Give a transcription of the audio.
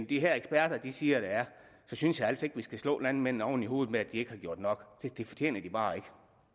de her eksperter siger der er så synes jeg altså ikke vi skal slå landmændene oven i hovedet med at de ikke har gjort nok det fortjener de bare ikke